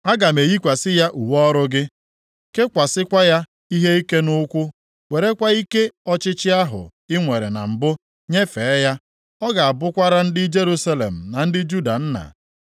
Aga m eyikwasị ya uwe ọrụ gị, kekwasịkwa ya ihe ike nʼukwu, werekwa ike ọchịchị ahụ i nwere na mbụ nyefee ya. Ọ ga-abụkwara ndị Jerusalem na ndị Juda nna.